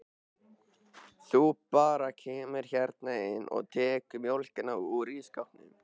Þú bara kemur hérna inn og tekur mjólkina úr ísskápnum.